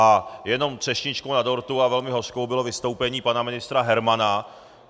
A jenom třešničkou na dortu, a velmi hořkou, bylo vystoupení pana ministra Hermana.